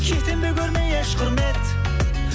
кетемін бе көрмей еш құрмет